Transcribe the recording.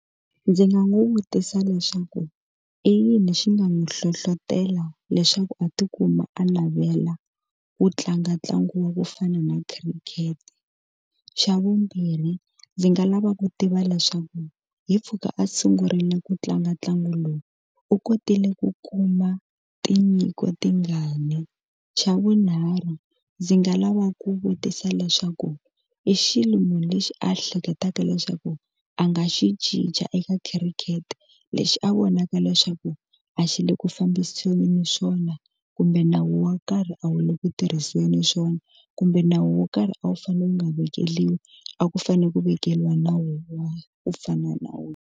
Ndzi nga n'wi vutisa leswaku i yini xi nga n'wi hlohlotelo leswaku a tikuma a navela ku tlanga ntlangu wa ku fana na khirikete xa vumbirhi ndzi nga lava ku tiva leswaku hi mpfhuka a sungurile ku tlanga ntlangu lowu u kotile ku kuma tinyiko tingani xa vunharhu ndzi nga lava ku vutisa leswaku i xilo munhu lexi a ehleketaka leswaku a nga xi cinca eka khirikete lexi a vonaka leswaku a xi le ku fambiseni swona kumbe nawu wo karhi a wu le ku tirhiseni swona kumbe nawu wo karhi a wu fanele wu nga vekeliwi a ku fanele ku vekeriwa nawu wa ku fana na nawu.